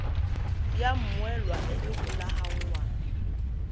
ya mmoelwa e e golaganngwang